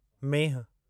मेंहिं